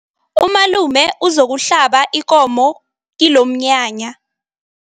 Umalume uzokuhlaba ikomo kilomnyanya.